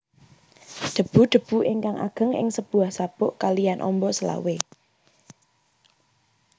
Debu debu ingkang ageng ing sebuah sabuk kaliyan ombo selawe